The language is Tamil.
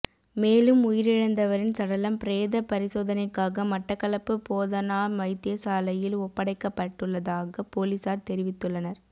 மேலும் உயிரிழந்தவரின் சடலம் பிரேத பரிசோதனைக்காக மட்டக்களப்பு போதனா வைத்தியசாலையில் ஒப்படடைக்கப்பட்டுள்ளதாக பொலிஸார் தெரிவித்துள்ளனர்